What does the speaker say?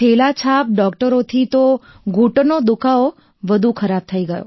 થેલાછાપ ડોક્ટરોથી તો ઘૂંટણનો દુખાવો વધુ ખરાબ થઈ ગયો